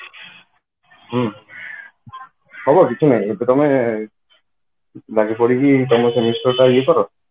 ହୁଁ ହବ କିଛି ନାଇଁ ଏବେ ତମେ ଲାଗିପଡିକି ତମ semester ଟା ଇଏ କର